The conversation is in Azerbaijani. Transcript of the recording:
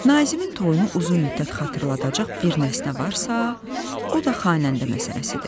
Nazimin toyunu uzun müddət xatırladacaq bir nəsnə varsa, o da xanəndə məsələsidir.